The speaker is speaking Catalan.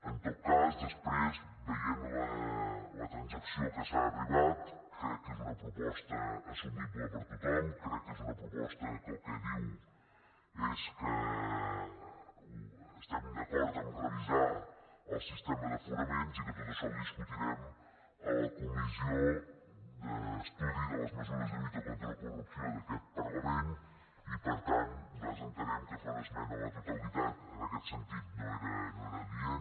en tot cas després veient la transacció a què s’ha arribat crec que és una proposta assumible per tothom crec que és una proposta que el que diu és que estem d’acord a revisar el sistema d’aforaments i que tot això ho discutirem a la comissió d’estudi de les mesures de lluita contra la corrupció d’aquest parlament i per tant nosaltres entenem que fer una esmena a la totalitat en aquest sentit no era adient